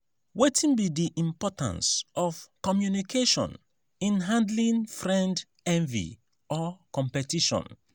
wetin be di importance of communication in handling friend envy or competition?